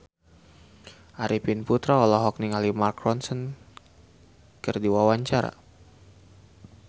Arifin Putra olohok ningali Mark Ronson keur diwawancara